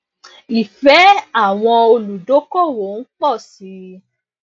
ìfẹ àwọn olùdókòwò ń pọ sí i